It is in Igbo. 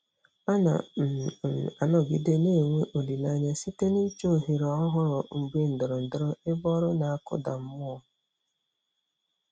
Ana um m anọgide na-enwe olileanya site n'ịchọ ohere ọhụrụ mgbe ndọrọndọrọ ebe ọrụ na-akụda mmụọ.